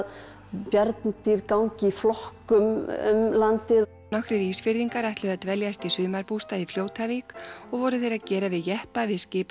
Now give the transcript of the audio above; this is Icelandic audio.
bjarndýr gangi í flokkum um landið nokkrir Ísfirðingar ætluðu að dveljast í sumarbústað í Fljótavík og voru þeir að gera við jeppa við